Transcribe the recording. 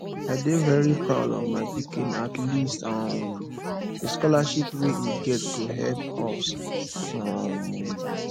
i dey very proud of my pikin at least um the scholarship wey he get go help us um